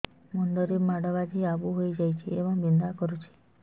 ମୁଣ୍ଡ ରେ ମାଡ ବାଜି ଆବୁ ହଇଯାଇଛି ଏବଂ ବିନ୍ଧା କରୁଛି